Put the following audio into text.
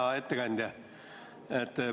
Hea ettekandja!